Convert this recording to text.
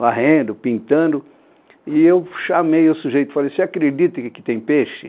varrendo, pintando, e eu chamei o sujeito, falei, você acredita que aqui tem peixe?